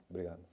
Obrigado.